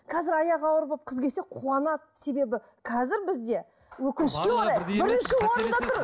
қазір аяғы ауыр болып қыз келсе қуанады себебі қазір бізде өкінішке орай бірінші орында тұр